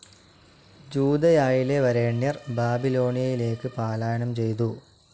ജൂദയായിലെ വരേണ്യർ ബാബിലോണയയിലേക്ക് പാലായനം ചെയ്തു.